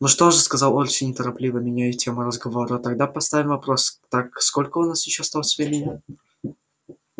ну что же сказал орси неторопливо меняя тему разговора тогда поставим вопрос так сколько у нас ещё осталось времени